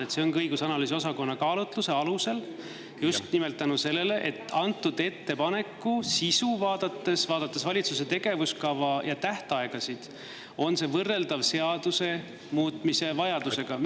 See ongi seal õigus- ja analüüsiosakonna kaalutluse alusel, just nimelt selle tõttu, et antud ettepaneku sisu ning valitsuse tegevuskava ja tähtaegasid vaadates on see võrreldav seaduse muutmise vajadusega.